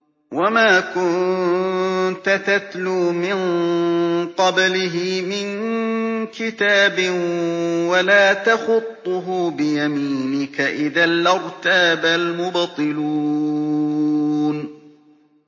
وَمَا كُنتَ تَتْلُو مِن قَبْلِهِ مِن كِتَابٍ وَلَا تَخُطُّهُ بِيَمِينِكَ ۖ إِذًا لَّارْتَابَ الْمُبْطِلُونَ